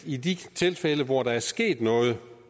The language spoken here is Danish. i de tilfælde hvor der er sket noget